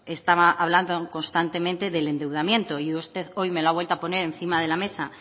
estaba hablando constantemente del endeudamiento y usted hoy me lo ha vuelto a poner encima de la mesa